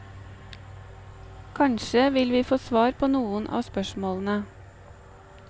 Kanskje vil vi få svar på noen av spørsmålene.